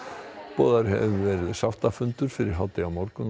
boðaður hefur verið sáttafundur fyrir hádegi á morgun